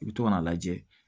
I bɛ to ka n'a lajɛ